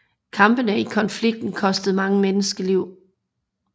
Kampene i konflikten kostede mange menneskeliv